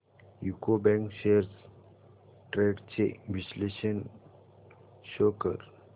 UCO bank shares trends चे विश्लेषण show कर